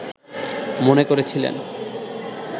মনে করেছিলেন